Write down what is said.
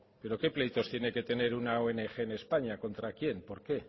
pero qué pleitos tiene que tener una ong en españa contra quién por qué